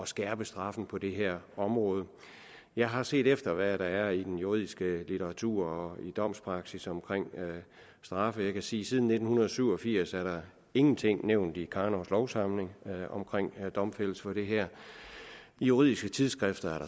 skærpe straffen på det her område jeg har set efter hvad der er i den juridiske litteratur og i domspraksis om straffe jeg kan sige at siden nitten syv og firs er der ingenting nævnt i karnovs lovsamling om domfældelse for det her i juridiske tidsskrifter